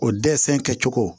O dɛsɛ kɛcogo